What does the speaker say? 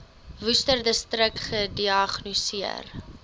worcesterdistrik gediagnoseer